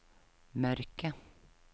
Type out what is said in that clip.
mørke